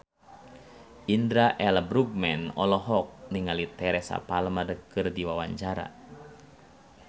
Indra L. Bruggman olohok ningali Teresa Palmer keur diwawancara